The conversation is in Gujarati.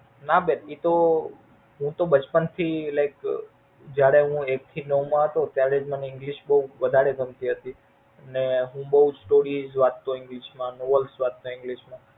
ના બેન એ તો હું તો બચપણ થી Like જયારે હું એક થી નવ માં હતો ત્યારે જ મને English વધારે ગમતી હતી અને હું બોવ Like વાંચતો English માં Novels વાંચતો English માં.